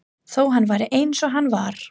Þó hann væri eins og hann var.